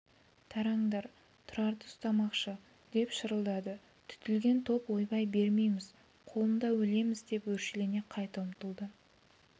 тараңдар тұрарды ұстамақшы деп шырылдады түтілген топ ойбай бермейміз қолында өлеміз деп өршелене қайта ұмтылды